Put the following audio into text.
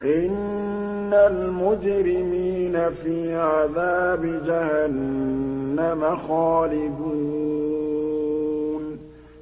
إِنَّ الْمُجْرِمِينَ فِي عَذَابِ جَهَنَّمَ خَالِدُونَ